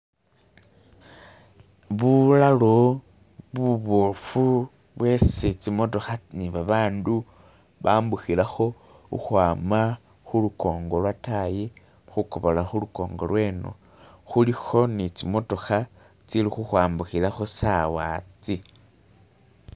Bulalo bubofu bwesi zimotoka nibabantu bambukilako ukwama kulukongo lyadani kugobola kulukongo lweno. Kuliko ni zimotoka zili kukwambukilako sawa zi.